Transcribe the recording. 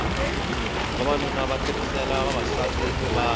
vavanuna va tirhela vavasati ni vana